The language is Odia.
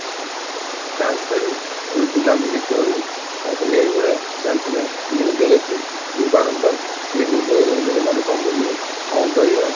ତାସ ଖେଳୁ ତାପରେ ବୁଲା ବୁଲି କରୁ ତାପରେ ଏଇ ଭଳିଆ ଚାଲିଥିଲା, news ରେ ଦେଖୁ କି ରୋଗ ଏଇ ରୋଗ ତା ଜମାରୁ କମୁନି କଣ କରିବା?